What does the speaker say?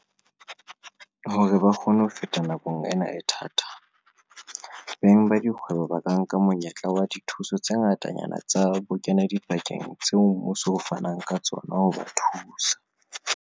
Hore ba kgone ho feta nakong ena e thata, beng bana ba dikgwebo ba ka nka monyetla wa dithuso tse ngatanyana tsa bokenadipakeng tseo mmuso o fanang ka tsona ho ba thusa.